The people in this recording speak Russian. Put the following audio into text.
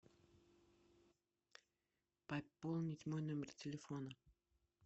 пополнить мой номер телефона